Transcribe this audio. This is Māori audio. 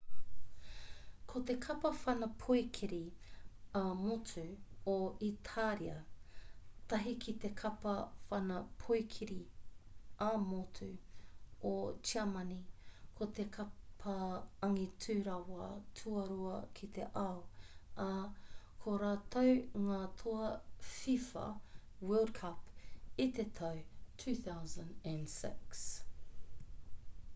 ko te kapa whanapoikiri ā-motu o itāria tahi ki te kapa whanapoikiri ā-motu o tiamani ko te kapa angitu rawa tuarua ki te ao ā ko rātou ngā toa fifa world cup i te tau 2006